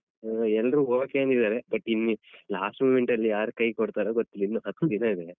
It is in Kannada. ಓ ಎಲ್ಲ್ರು okay ಅಂದಿದ್ದಾರೆ but in last moment ಅಲ್ಲಿ ಯಾರ್ ಕೈ ಕೊಡ್ತಾರೋ ಗೊತ್ತಿಲ್ಲ ಇನ್ನು ಹತ್ತು ದಿನ ಇದೆ.